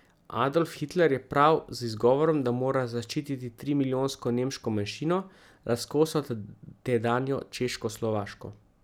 Adolf Hitler je prav z izgovorom, da mora zaščititi trimilijonsko nemško manjšino, razkosal tedanjo Češkoslovaško.